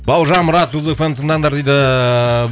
бауыржан мұрат жұлдыз эф эм тыңдаңдар дейді